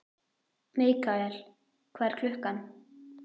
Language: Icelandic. Mikael, hvað er klukkan?